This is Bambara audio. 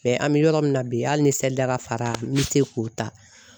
Mɛ an bɛ yɔrɔ min na bi hali ni sa da ka fara me se k'o ta